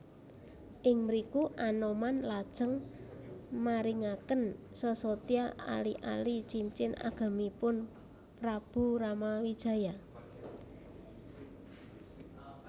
Ing mriku Anoman lajeng maringaken sesotya ali ali cincin agemipun Prabu Ramawijaya